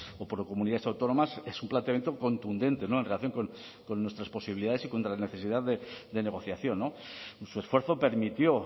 o por comunidades autónomas es un planteamiento contundente en relación con nuestras posibilidades y contra la necesidad de negociación su esfuerzo permitió